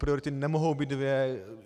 Priority nemohou být dvě.